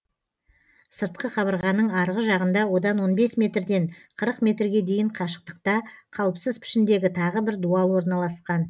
сыртқы қабырғаның арғы жағында одан он бес метрден қырық метрге дейін қашықтықта қалыпсыз пішіндегі тағы бір дуал орналасқан